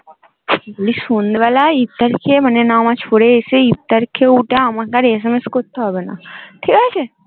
বলি সন্ধে বেলা ইফতার খেয়ে মানে নামজ পরে এসে ইফতার খেয়ে উঠে আমাকে আর SMS করতে হবে না